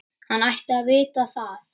Hann ætti að vita það.